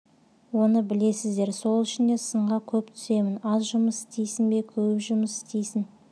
оны білесіздер сол үшін де сынға көп түсемін аз жұмыс істейсің бе көп жұмыс істейсің